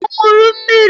Ọ ṅụrụ mmiri?